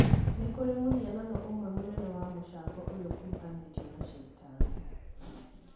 Nĩ kũrĩ mũhianano ũmwe mũnene wa mũcango ũrĩa ukuruhanatio na caitani